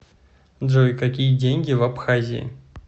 джой какие деньги в абхазии